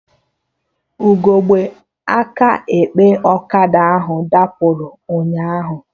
Ugegbe aka ekpe ọkada ahụ dapụrụ ụnyaahụ